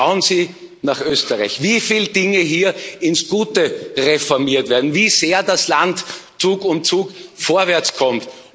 Und schauen Sie nach Österreich, wie viele Dinge hier ins Gute reformiert werden, wie sehr das Land Zug um Zug vorwärtskommt.